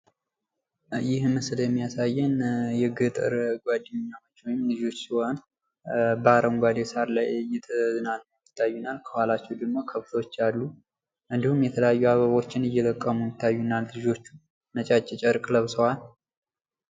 ይህ ምስል የሚያሳየን የገጠር ጓደኛሞች ወይም ልጆች ሲሆኑ በአረንጓዴ ሳር ላይ እየተዝናኑ ይታዩናል። ከኋላቸው ደግሞ ከብቶች አሉ። እንድሁም ደግሞ የተለያዩ አበቦችን እየለቀሙ ይታዩናል ልጆቹ ነጫጭ ጨርቅ ለብሰዋል።